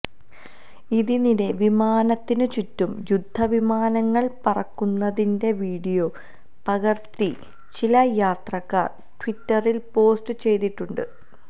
ഇതിനിടെ വിമാനത്തിനു ചുറ്റും യുദ്ധവിമാനങ്ങൾ പറക്കുന്നതിന്റെ വിഡിയോ പകർത്തി ചില യാത്രക്കാർ ട്വിറ്ററിൽ പോസ്റ്റ് ചെയ്തിട്ടുണ്ട്